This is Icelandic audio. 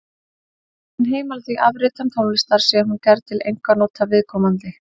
Lögin heimila því afritun tónlistar sé hún gerð til einkanota viðkomandi.